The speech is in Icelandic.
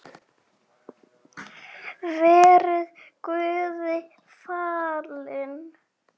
Verið Guði falin.